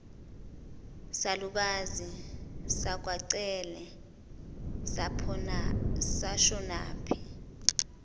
salukazi sakwacele sashonaphi